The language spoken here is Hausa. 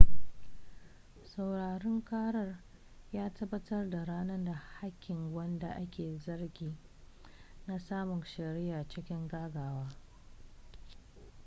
sauraren karar ya tabbatar da ranar da hakkin wanda ake zargi na samun shari'a cikin gaggawa